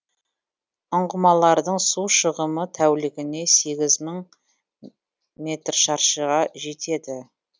ұңғымалардың су шығымы тәулігіне сегіз мың метр шаршығам жетеді